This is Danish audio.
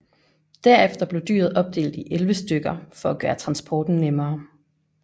Derefter blev dyret opdelt i 11 stykker for at gøre transporten nemmere